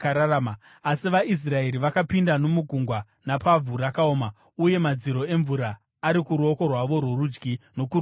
Asi vaIsraeri vakapinda nomugungwa napavhu rakaoma uye madziro emvura ari kuruoko rwavo rworudyi nokuruboshwe.